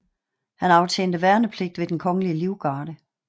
Han aftjente værnepligt ved Den Kongelige Livgarde